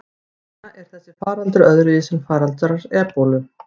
Hvers vegna er þessi faraldur öðruvísi en fyrri faraldrar ebólu?